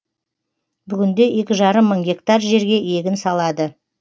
бүгінде екі жарым мың гектар жерге егін салады